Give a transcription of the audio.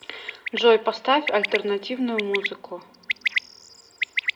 джой поставь альтернативную музыку